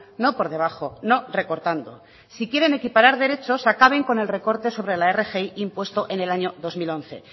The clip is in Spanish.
no por debajo no recortando si quieren equiparar derechos acaben con el recorte sobre la rgi impuesto en el año dos mil once